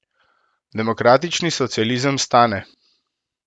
Demokratični socializem stane.